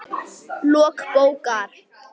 Lok bókar